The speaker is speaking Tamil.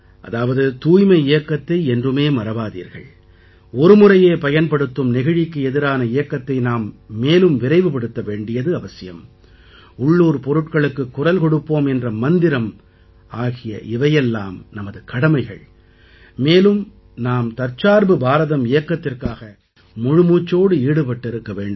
அதாவது தூய்மை இயக்கத்தை என்றுமே மறவாதீர்கள் ஒருமுறையே பயன்படுத்தும் நெகிழிக்கு எதிரான இயக்கத்தை நாம் மேலும் விரைவுபடுத்த வேண்டியது அவசியம் உள்ளூர் பொருட்களுக்குக் குரல் கொடுப்போம் என்ற மந்திரம் ஆகிய இவையெல்லாம் நமது கடமைகள் மேலும் நாம் தற்சார்பு பாரதம் இயக்கத்திற்காக முழுமூச்சோடு ஈடுபட்டிருக்க வேண்டும்